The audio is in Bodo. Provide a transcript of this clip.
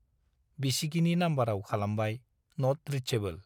बिसिगिनि नाम्बाराव खालामबाय - नट रिचेबल।